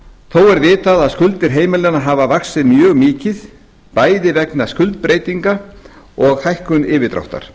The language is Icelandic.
er vitað að skuldir heimilanna hafa vaxið mjög mikið bæði vegna skuldbreytinga og hækkun yfirdráttar